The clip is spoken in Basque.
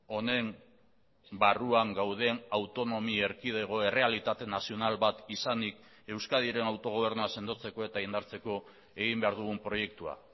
honen barruan gauden autonomi erkidego errealitate nazional bat izanik euskadiren autogobernua sendotzeko eta indartzeko egin behar dugun proiektua